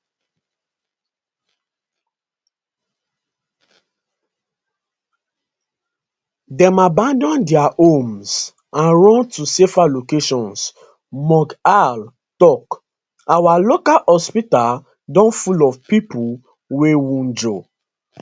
dem abandon dia homes and run to safer locations mughal tok our local hospital don full of pipo wey wunjure